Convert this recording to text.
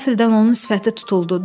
Qəfildən onun sifəti tutuldu.